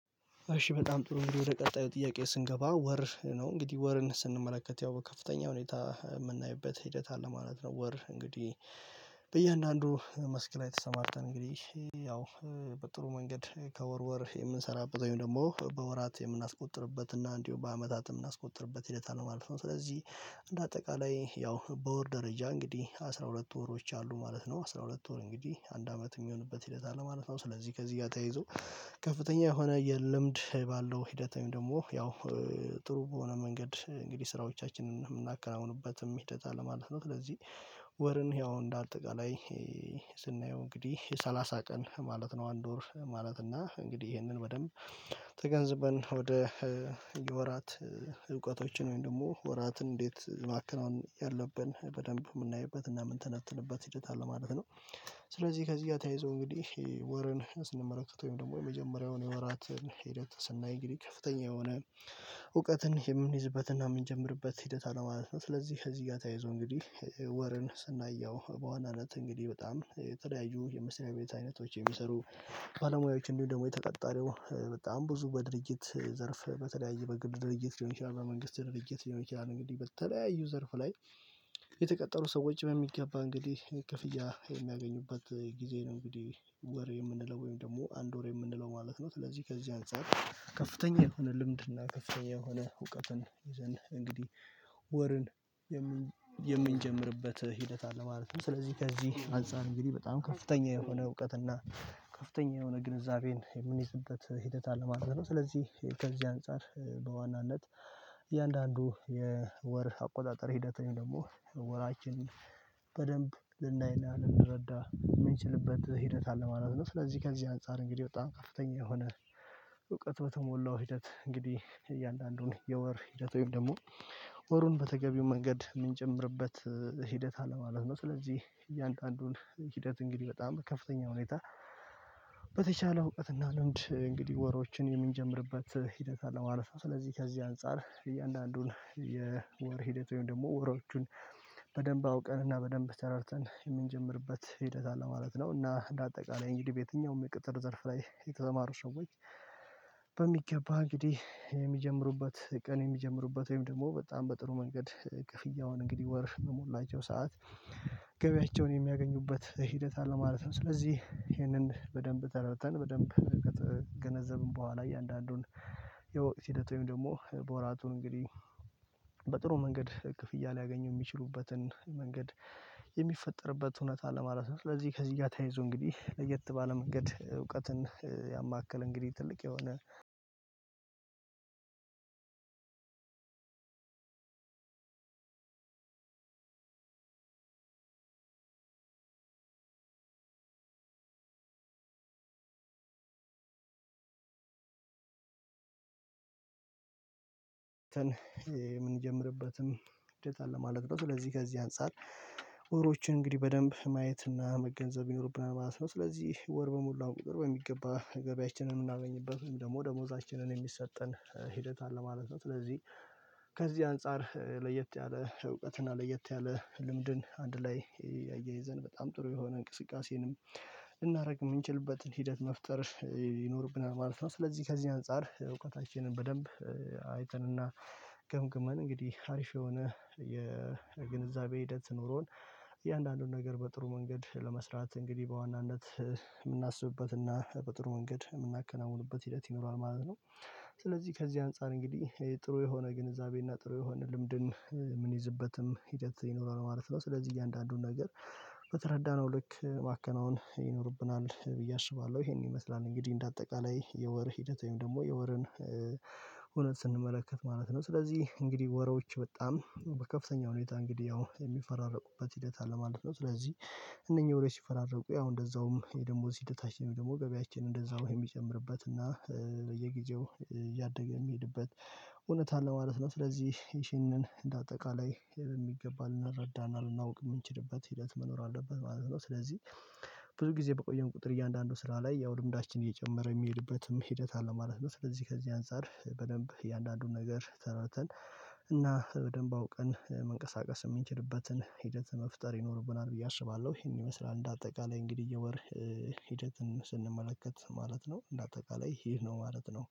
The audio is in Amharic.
እሺ በጣም ጥሩ እንዲህ ወደ ቀጣዩ ጥያቄ ስንገባ ወር ነው እንግዲህ ወርን ስንመለከት ያው ከፍተኛ ሁኔታ የምናይበት ሂደት አለ ማለት ነው። ወር እንግዲህ በእያንዳንዱ መስክ ላይ ተሰማርተን እንግዲህ ያው በጥሩ መንገድ ከወር ወር የምንሰራበት ወይም ደግሞ በወራት የምናስቆጥርበት እና እንዲሁ በአመታት የምናስቆጥርበት ሂደታል ማለፍ ነው። ስለዚህ እንደ አጠቃላይ ያው በወር ደረጃ እንግዲህ አስራ ሁለት ወሮች አሉ ማለት ነው። አስራ ሁለት ወር እንግዲህ አንድ አመት የሚሆንበት ሂደት አለ ማለት ነው። ስለዚህ ከዚህ ጋር ተያይዞ ከፍተኛ የሆነ የልምድ ባለው ሂደታዊ ደግሞ ያው ጥሩ በሆነ መንገድ እንግዲህ ስራዎቻችንን የምናከናውኑበትም ሂደት አለ ማለት ነው። ስለዚህ ወርን ያው እንዳልጠቃላይ ስናየው እንግዲህ የሰላሳ ቀን ማለት ነው አንድ ወር ማለት እና እንግዲህ ይሄንን በደንብ ተገንዝበን ወደ የወራት እውቀቶችን ወይም ደግሞ ወራትን እንዴት ማከናወን ያለብን በደንብ የምናይበት እና የምንተነተንበት ሂደት አለ ማለት ነው። ስለዚህ ከዚህ ጋር ተያይዞ እንግዲህ ወርን ስንመለከት ወይም ደግሞ የመጀመሪያውን የወራትን ሂደት ስናይ እንግዲህ ከፍተኛ የሆነ እውቀትን የምንይዝበትና የምንጀምርበት ሂደት ማለት ነው። ስለዚህ እዚህ ጋር ተያይዞ እንግዲህ ወርን ስናየው በዋናነት እንግዲህ በጣም የተለያዩ የመስሪያ ቤት አይነቶች የሚሰሩ ባለሙያዎች እንዲሁ ደግሞ የተቀጣሪው በጣም ብዙ በድርጅት ዘርፍ በተለያየ በግል ድርጅት ሊሆን ይችላል በመንግስት ድርጅት ሊሆን ይችላል እንግዲህ በተለያዩ ዘርፍ ላይ የተቀጠሩ ሰዎች በሚገባ እንግዲህ ክፍያ ጊዜ ነው። እንግዲህ ወር የምንለው ወይም ደግሞ አንድ ወር የምንለው ማለት ነው። ስለዚህ ከዚህ አንፃር ከፍተኛ የሆነ ልምድ እና ከፍተኛ የሆነ እውቀትን ይዘን እንግዲህ ወርን የምንጀምርበት ሂደት አለ ማለት ነው። ስለዚህ ከዚህ አንፃር እንግዲህ በጣም ከፍተኛ የሆነ እውቀት እና ከፍተኛ የሆነ ግንዛቤን የምንይዝበት ሂደት አለ ማለት ነው። ስለዚህ ከዚህ አንፃር በዋናነት እያንዳንዱ የወር አቆጣጠር ሂደት ነው ደግሞ ወራችንን ልናይ ልናል ልንረዳ የምንችልበት ሂደት አለ ማለት ነው። ስለዚህ ከዚህ አንፃር እንግዲህ በጣም ከፍተኛ የሆነ እውቀት በተሞላው ሂደት እንግዲህ እያንዳንዱን የወር ሂደት ወይም ደግሞ ወሩን በተገቢው መንገድ የምንጨምርበት ሂደት አለማለት ነው። ስለዚህ እያንዳንዱን ሂደት እንግዲህ በጣም ከፍተኛ ሁኔታ በተቻለ እውቀት እና ልምድ እንግዲህ ወሮችን የምንጀምርበት ሂደት አለ ማለት ነው። ስለዚህ ከዚህ አንፃር እያንዳንዱን የወር ሂደት ወይም ደግሞ ወሮቹን በደንብ አውቀን እና በደንብ ተረድተን የምንጀምርበት ሂደት አለ ማለት ነው። እና በአጠቃላይ እንግዲህ በየትኛውም የቅጥር ዘርፍ ላይ የተሰማሩ ሰዎች በሚገባ እንግዲህ የሚጀምሩበት ቀን የሚጀምሩበት ወይም ደግሞ በጣም በጥሩ መንገድ ክፍያውን እንግዲህ ወርፍ መሞላቸው ሰዓት ገበያቸውን የሚያገኙበት ሂደት አለ ማለት ነው። ስለዚህ ይሄንን በደንብ ተረድተን በደንብ ገነዘብን በኋላ እያንዳንዱን የወቅት ሂደቱን ደግሞ ወራቱን እንግዲህ በጥሩ መንገድ ክፍያ ሊያገኙ የሚችሉበትን መንገድ የሚፈጠርበት እውነት ለማለት ነው። ለዚህ ከዚህ ጋር ተያይዞ እንግዲህ ለየት ባለ መንገድ እውቀትን ያማከል እንግዲህ ትልቅ የሆነ የምንጀምርበትም እድል አለ ማለት ነው። ስለዚህ ከዚህ አንፃር ወሮችን እንግዲህ በደንብ ማየት እና መገንዘብ ይኖርብናል ማለት ነው። ስለዚህ ወር በሙሉ ቁጥር በሚገባ ገበያችንን የምናገኝበት ደግሞ ደሞዛችንን የሚሰጠን ሂደት አለ ማለት ነው። ስለዚህ ከዚህ አንፃር ለየት ያለ እውቀት እና ለየት ያለ ልምድን አንድ ላይ አያይዘን በጣም ጥሩ የሆነ እንቅስቃሴንም ልናደርግ የምንችልበትን ሂደት መፍጠር ይኖርብናል ማለት ነው። ስለዚህ ከዚህ አንፃር እውቀታችንን በደንብ አይተንና ገምግመን አሪፍ የሆነ የግንዛቤ ሂደት ኖሮን እያንዳንዱን ነገር በጥሩ መንገድ ለመስራት እንግዲህ በዋናነት የምናስብበትና በጥሩ መንገድ የምናከናውንበት ሂደት ይኖራል ማለት ነው። ስለዚህ ከዚህ አንፃር እንግዲህ ጥሩ የሆነ ግንዛቤና ጥሩ የሆነ ልምድን የምንይዝበትም ሂደት ይኖረዋል ማለት ነው። ስለዚህ እያንዳንዱን ነገር በተረዳነው ልክ ማከናወን ይኖርብናል ብዬ አስባለሁ ይሄን ይመስላል። እንግዲህ እንደ አጠቃላይ የወር ሂደት ወይም ደግሞ የወርን እውነት ስንመለከት ማለት ነው። ስለዚህ እንግዲህ ወሮች በጣም በከፍተኛ ሁኔታ እንግዲህ ያው የሚፈራረቁበት ሂደት አለ ማለት ነው። ስለዚህ እነኚህ ወሬ ሲፈራረቁ ያው እንደዛውም የደሞዝ ሲታሽ ደግሞ ገቢያችን እንደዛ ወይ የሚጨምርበት እና በየጊዜው ያደገ የሚሄድበት እውነት አለ ማለት ነው። ስለዚህ ይህንን እንደ አጠቃላይ የሚገባ ልናረዳና እናውቅ የምንችልበት ሂደት መኖር አለበት ማለት ነው። ስለዚህ ብዙ ጊዜ በቆየው ቁጥር እያንዳንዱ ስራ ላይ ያው ልምዳችን እየጨመረ የሚሄድበትም ሂደት አለ ማለት ነው። ስለዚህ ከዚህ አንፃር በደንብ የእያንዳንዱን ነገር ተረድተን እና በደንብ አውቀን መንቀሳቀስ የምንችልበትን ሂደት መፍጠር ይኖርብናል ብዬ አስባለሁ። ይሄን ይመስላል። እንደ አጠቃላይ እንግዲህ የወር ሂደትን ስንመለከት ማለት ነው። እንደ አጠቃላይ ይህ ነው ማለት ነው